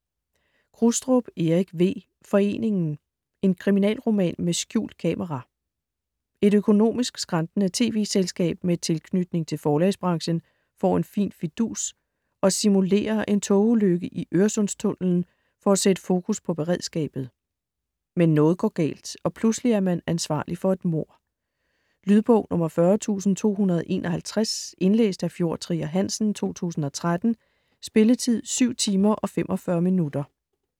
Krustrup, Erik V.: Foreningen: en kriminalroman med skjult kamera Et økonomisk skrantende tv-selskab med tilknytning til forlagsbranchen får en fin fidus: at simulere en togulykke i Øresundstunnelen for at sætte fokus på beredskabet. Men noget går galt, og pludselig er man ansvarlig for et mord. Lydbog 40251 Indlæst af Fjord Trier Hansen, 2013. Spilletid: 7 timer, 45 minutter.